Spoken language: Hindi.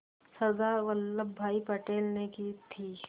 सरदार वल्लभ भाई पटेल ने की थी